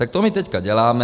Tak to my teď děláme.